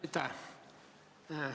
Aitäh!